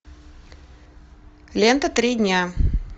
лента три дня